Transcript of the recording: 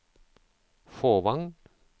Fåvang